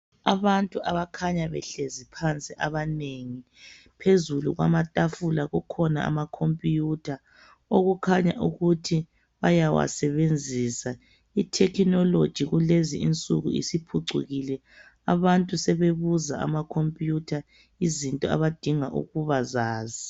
Ababtu abakhanya behlezi phansi abanengi. Phezulu kwamatafula kukhona amacomputer. Okukhanya ukuthi bayawasebenzisa. Itechnology kulezi insuku isiphucukile. Abantu sebebuza amacomputer. Izinto abadinga ukubazazi.